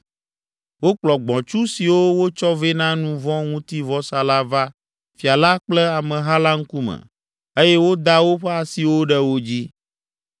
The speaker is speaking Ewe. Wokplɔ gbɔ̃tsu siwo wotsɔ vɛ na nu vɔ̃ ŋuti vɔsa la va fia la kple ameha la ŋkume eye woda woƒe asiwo ɖe wo dzi.